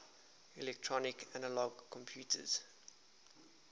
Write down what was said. electronic analog computers